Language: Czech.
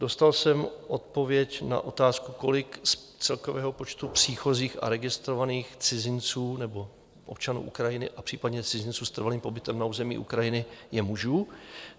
Dostal jsem odpověď na otázku, kolik z celkového počtu příchozích a registrovaných cizinců nebo občanů Ukrajiny a případně cizinců s trvalým pobytem na území Ukrajiny je mužů.